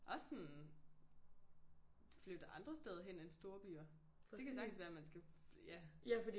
Også sådan flytte andre steder hen end storbyer. Det kan sagtens være man skal ja